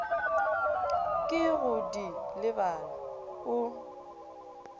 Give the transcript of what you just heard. ke go di lebala o